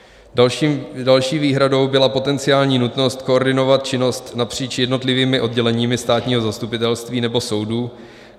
Další výhradou byla potenciální nutnost koordinovat činnosti napříč jednotlivými odděleními státního zastupitelství nebo soudů.